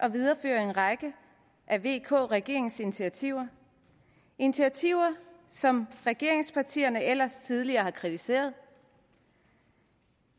at videreføre en række af vk regeringens initiativer initiativer som regeringspartierne ellers tidligere har kritiseret